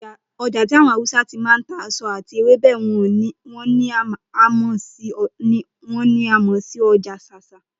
O̩jà tí àwo̩n Hausa ti máa ń ta èso àti ewébè̩ wo̩n ni a mò̩ sí o̩jà S̩ás̩á